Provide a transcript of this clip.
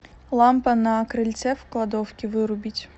лампа на крыльце в кладовке вырубить